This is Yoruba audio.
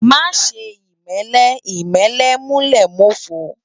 Má ṣè imèlè imèlè mú lè mófó